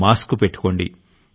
mask పెట్టుకోండి